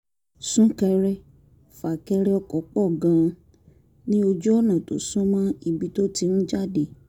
sún-kẹrẹ-fà-kẹrẹ ọkọ̀ pọ̀ gan-an ní ojú ọ̀nà tó sún mọ́ ibi tó ti ń jáde